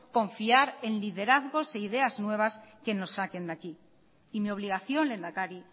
confiar en liderazgos e ideas nuevas que nos saquen de aquí y mi obligación lehendakari